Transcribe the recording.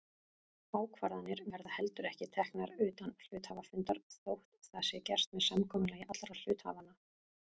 Ákvarðanir verða heldur ekki teknar utan hluthafafundar þótt það sé gert með samkomulagi allra hluthafanna.